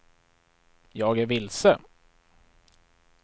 jag är vilse